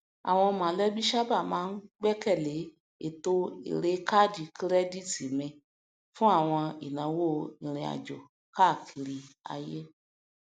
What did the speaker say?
àwọn mọlẹbí sábà máa ń gbẹkẹlé ètò èrèe káádì kírẹdítì mi fún àwọn ináwó irinàjò káàkiri ayé